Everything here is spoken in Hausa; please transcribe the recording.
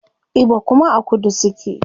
Igbo kuma a kudu suke